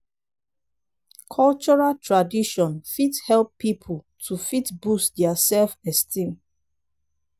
cultural tradition fit help pipo to fit boost their self esteem